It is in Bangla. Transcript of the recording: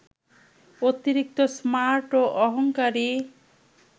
অতিরিক্ত স্মার্ট ও অহংকারী